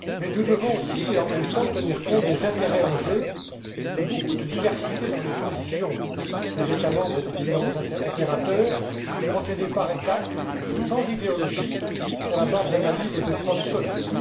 Nous devons aussi, et en même temps, tenir compte des intérêts en jeu et de la grande diversité dans les positions des États membres et des différents opérateurs et procéder par étape, sans idéologie, sur la base d'analyses et de preuves solides.